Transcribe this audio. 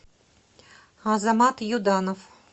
азамат юданов